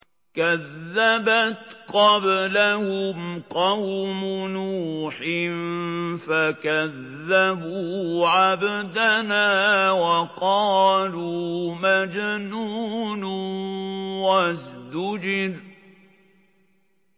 ۞ كَذَّبَتْ قَبْلَهُمْ قَوْمُ نُوحٍ فَكَذَّبُوا عَبْدَنَا وَقَالُوا مَجْنُونٌ وَازْدُجِرَ